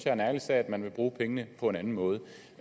er en ærlig sag at man vil bruge pengene på en anden måde